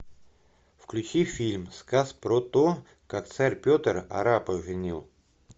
включи фильм сказ про то как царь петр арапа женил